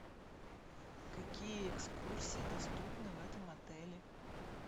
какие экскурсии доступны в этом отеле